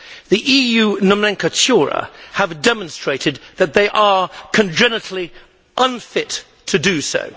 The EU nomenclatura have demonstrated that they are congenitally unfit to do so.